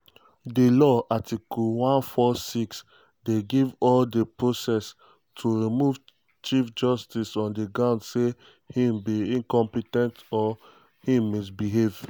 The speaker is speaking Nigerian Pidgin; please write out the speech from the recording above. di law (article 146) dey give all di process um to remove chief justice on "di grounds say im um be incompe ten t or im misbehave".